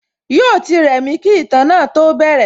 Yóò ti rẹ̀mí kí ìtàn náà tó bẹ̀rẹ̀